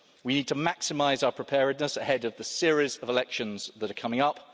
We need to maximise our preparedness ahead of the series of elections that are coming up.